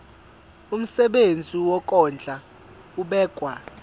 umsebenzi wokondla ubekwa